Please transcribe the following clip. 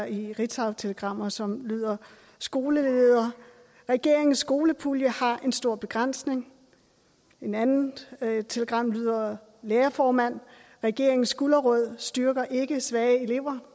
i et ritzautelegram som lyder skoleleder regeringens skolepulje har en stor begrænsning et andet telegram lyder lærerformand regeringens gulerod styrker ikke svage elever